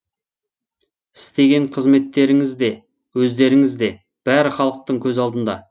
істеген қызметтеріңіз де өздеріңіз де бәрі халықтың көз алдында